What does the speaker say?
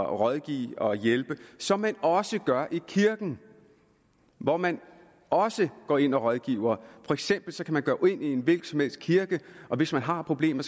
rådgive og hjælpe som man også gør i kirken hvor man også går ind og rådgiver for eksempel kan man gå ind i en hvilken som helst kirke og hvis man har problemer